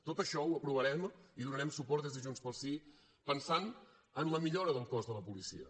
tot això ho aprovarem i hi donarem suport des de junts pel sí pensant en la millora del cos de la policia